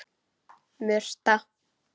Murta